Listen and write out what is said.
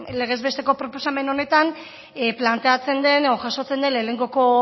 legezbesteko proposamen honetan planteatzen den edo jasotzen den lehenengoko